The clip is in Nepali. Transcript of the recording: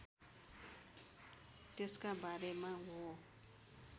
त्यसका बारेमा हो